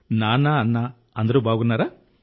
నాన్న అన్న అందరూ బాగున్నారా